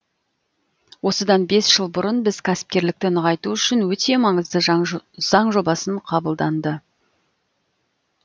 осыдан бес жыл бұрын біз кәсіпкерлікті нығайту үшін өте маңызды заң жобасын қабылданды